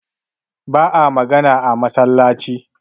ba a magana a masallaci